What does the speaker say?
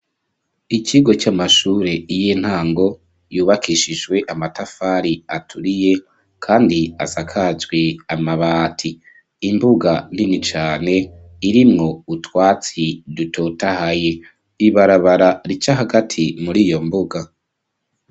Ikigo, c'amashure y'intango, yubakishijwe amatafari, aturiye, kandi asakajwe amabati; imbuga nini cane, irimwo utwatsi, dutotahaye; ibarabara rica hagati, muri iyo mbuga.